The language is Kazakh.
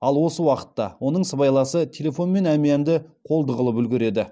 ал осы уақытта оның сыбайласы телефон мен әмиянды қолды қылып үлгереді